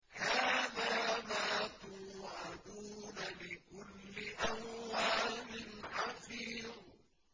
هَٰذَا مَا تُوعَدُونَ لِكُلِّ أَوَّابٍ حَفِيظٍ